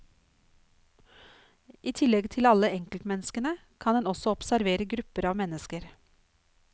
I tillegg til alle enkeltmenneskene, kan en også observere grupper av mennesker.